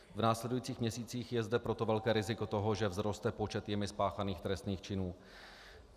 V následujících měsících je zde proto velké riziko toho, že vzroste počet jimi spáchaných trestných činů.